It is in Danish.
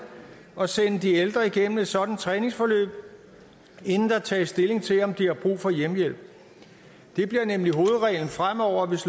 at sende de ældre igennem et sådant træningsforløb inden der tages stilling til om de har brug for hjemmehjælp det bliver nemlig hovedreglen fremover hvis